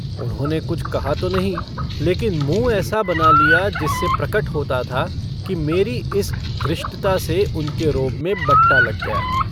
उन्होंने कुछ कहा तो नहीं लेकिन मुँह ऐसा बना लिया जिससे प्रकट होता था कि मेरी इस धृष्टता से उनके रोब में बट्टा लग गया।